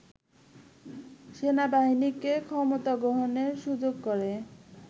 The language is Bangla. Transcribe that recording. সেনাবাহিনীকে ক্ষমতা গ্রহণের সুযোগ করে